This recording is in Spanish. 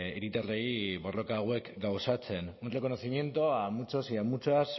hiritarrei borroka hauek gauzatzen un reconocimiento a muchos y muchas